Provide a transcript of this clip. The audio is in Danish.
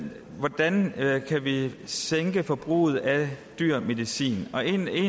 hvordan vi kan sænke forbruget af dyr medicin